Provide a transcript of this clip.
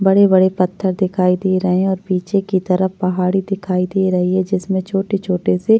बड़े बड़े पत्थर दिखाई दे रहे है और पीछे की तरफ पाहाड़ी दिखाई दे रही है जिसमे छोटे छोटे से --